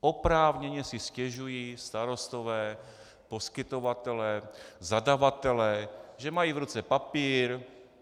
Oprávněně si stěžují starostové, poskytovatelé, zadavatelé, že mají v ruce papír.